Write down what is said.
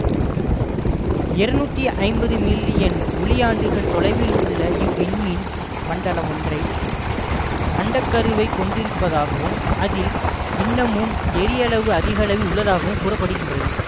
இருநூற்றி ஐம்பது மில்லியன் ஒளியாண்டுகள் தொலைவில் உள்ள இவ்விண்மீன் மண்டலம் ஒன்றை அண்டக்கருவைக் கொண்டிருப்பதாகவும் அதில் இன்னமும் ஏறியளவு அதிகளவில் உள்ளதாகவும் கூற படுகிறது